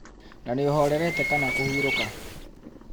Na nĩ ũhorerete kana kũhurũka?